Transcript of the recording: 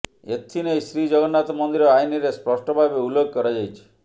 ଏଥିନେଇ ଶ୍ରୀ ଜଗନ୍ନାଥ ମନ୍ଦିର ଆଇନରେ ସ୍ପଷ୍ଟ ଭାବେ ଉଲ୍ଲେଖ କରାଯାଇଛି